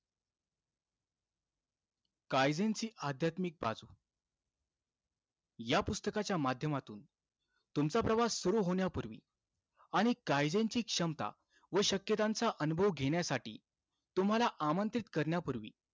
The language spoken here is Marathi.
काईझेनची अध्यात्मिक बाजू पुस्तकाच्या माध्यमातून तुमचा प्रवास सुरु होण्यापूर्वी आणि कायद्यांची क्षमता आणि शक्यतांचा अनुभव घेण्यासाठी तुम्हाला आमंत्रित करण्यापूर्वी,